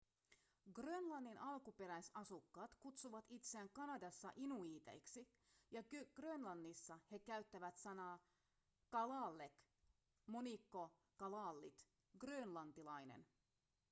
grönlannin alkuperäisasukkaat kutsuvat itseään kanadassa inuiiteiksi ja grönlannissa he käyttävät sanaa kalaalleq monikko kalaallit grönlantilainen